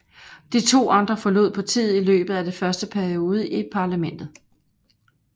De to andre forlod partiet i løbet af dets første periode i parlamentet